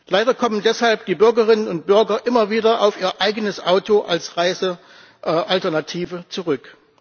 Leider kommen deshalb die Bürgerinnen und Bürger immer wieder auf ihr eigenes Auto als Reisealternative zurück.